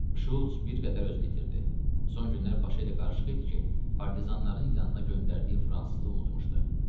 Şults bir qədər özünü itirdi, son günlər başı elə qarışıq idi ki, partizanların yanına göndərdiyi fransızı unutmuşdu.